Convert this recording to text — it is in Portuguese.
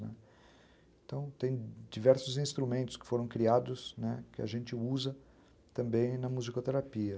Né, então, tem diversos instrumentos, que foram criados, né, que a gente usa também na musicoterapia.